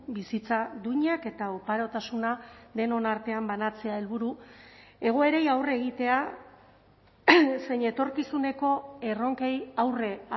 bizitza duinak eta oparotasuna denon artean banatzea helburu egoerei aurre egitea zein etorkizuneko erronkei aurre